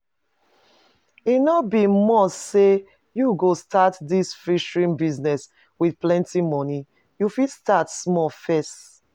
E no be must say you go start dis fishery business with plenty money, you fit start small first